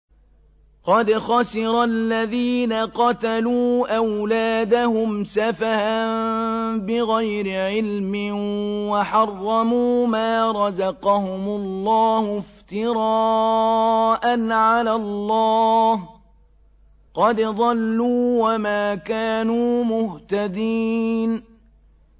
قَدْ خَسِرَ الَّذِينَ قَتَلُوا أَوْلَادَهُمْ سَفَهًا بِغَيْرِ عِلْمٍ وَحَرَّمُوا مَا رَزَقَهُمُ اللَّهُ افْتِرَاءً عَلَى اللَّهِ ۚ قَدْ ضَلُّوا وَمَا كَانُوا مُهْتَدِينَ